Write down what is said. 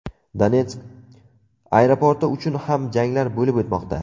Donetsk aeroporti uchun ham janglar bo‘lib o‘tmoqda.